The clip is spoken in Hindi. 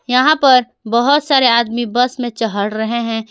यहां पर बहुत सारे आदमी बस में चहढ़ रहे हैं।